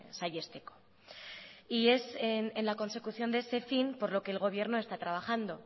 saihesteko y es en la consecución de ese fin por lo que el gobierno está trabajando